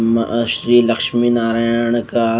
मअ श्री लक्ष्मी नारायण का --